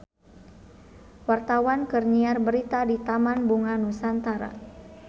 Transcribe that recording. Wartawan keur nyiar berita di Taman Bunga Nusantara